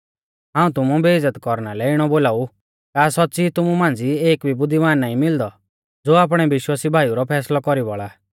हाऊं तुमु बेइज़्ज़त कौरना लै इणौ बोलाऊ का सौच़्च़ी तुमु मांझ़ी एक भी बुद्धिमान नाईं मिलदौ ज़ो आपणै विश्वासी भाईऊ रौ फैसलौ कौरी बौल़ा